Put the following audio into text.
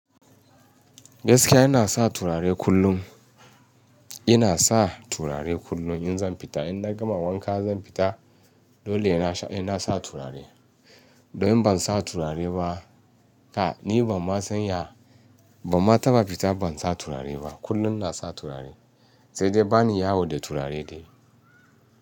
Gaskiya ina sa turare kullum. Ina sa turare kullum in zan fita. In na gama wanka zan fita, dole ina sa turare. Domin ban sa turare ba, ka ni ban ma san ya, ban ma taba fita ban sa turare ba. Kullum ina sa turare, sai dai bani yawo da turare dai.